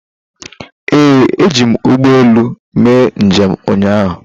Ee, eji m ụgbọelu mee njem ụnyaahụ.